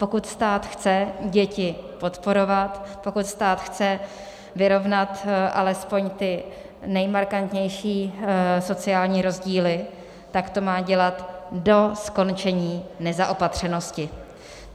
Pokud stát chce děti podporovat, pokud stát chce vyrovnat alespoň ty nejmarkantnější sociální rozdíly, tak to má dělat do skončení nezaopatřenosti.